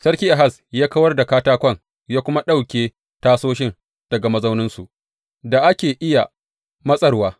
Sarkin Ahaz ya kawar da katakon ya kuma ɗauke tasoshin daga mazauninsu da ake iya matsarwa.